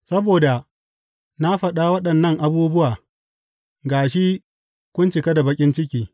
Saboda na faɗa waɗannan abubuwa ga shi kun cika da baƙin ciki.